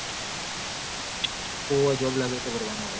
ઓવ job લાગ એટલ ભરવા ના હોય